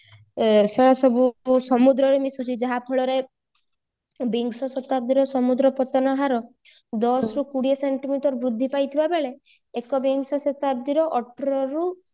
ସେ ସବୁକୁ ସମୁଦ୍ରରେ ମିସୁଛି ଯାହା ଫଳରେ ବିଂଶ ଶତାବ୍ଦୀ ସମୁଦ୍ର ପତନ ହାର ଦଶରୁ କୋଡିଏ ସେଣ୍ଟିମିଟର ବୃଦ୍ଧି ପାଇଥିବା ବେଳେ ଏକ ବିଂଶ ଶତାବ୍ଦୀର ଅଠରରୁ